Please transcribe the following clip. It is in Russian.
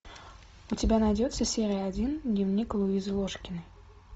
у тебя найдется серия один дневник луизы ложкиной